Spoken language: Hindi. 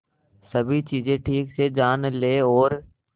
सभी चीजें ठीक से जान ले और